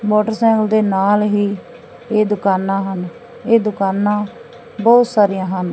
Motorcycle ਦੇ ਨਾਲ ਹੀ ਇਹ ਦੁਕਾਨਾਂ ਹਨ। ਇਹ ਦੁਕਾਨਾਂ ਬਹੁਤ ਸਾਰੀਆਂ ਹਨ।